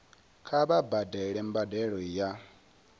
kha vha badele mbadelo ya